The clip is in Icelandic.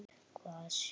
Hvað sérðu?